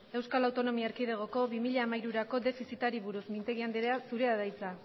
eaeko bi mila hamairurako defizitari buruz mintegi anderea zure da hiza